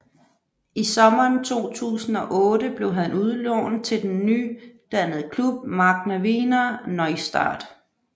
I sommeren 2008 blev han udlånt til den nydannede klub Magna Wiener Neustadt